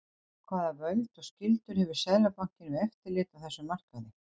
hvaða völd og skyldur hefur seðlabankinn við eftirlit á þessum markaði